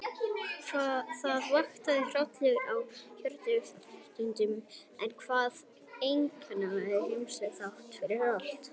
Það vakti hroll í hörundi og taugaendum, en var einkennilega heilsusamlegt þráttfyrir allt.